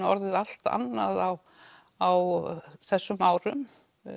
orðið allt annað á á þessum árum